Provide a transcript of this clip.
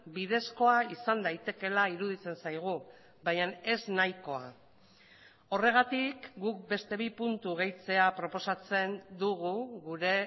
bidezkoa izan daitekeela iruditzen zaigu baina ez nahikoa horregatik guk beste bi puntu gehitzea proposatzen dugu gure